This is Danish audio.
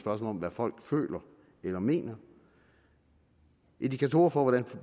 om hvad folk føler eller mener indikatorer for